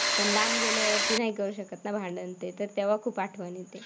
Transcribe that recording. पण लांब गेल्यावरती नाही करू शकत ना भांडण तेन. तर तेव्हा खूप आठवण येते.